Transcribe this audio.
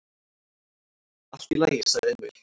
"""Allt í lagi, sagði Emil."""